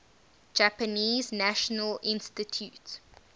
japanese national institute